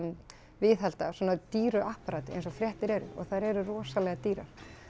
viðhalda svona dýru apparati eins og fréttir eru og þær eru rosalega dýrar